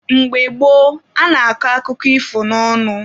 Mgbe gboo, a na-akọ akụkọ ifo n'ọnụ.